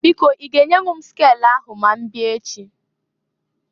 Biko i ga enyenwu m skelu ahụ ma mbịa echi?